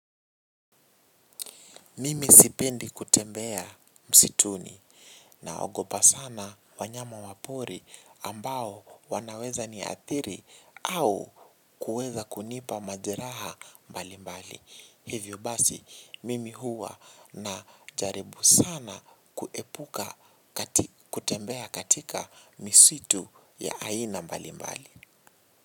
Mimi sipendi kutembea msituni, naogopa sana wanyama wa pori ambao wanaweza niathiri au kuweza kunipa majeraha mbalimbali. Hivyo basi mimi huwa najaribu sana kuepuka kutembea katika misitu ya aina mbalimbali.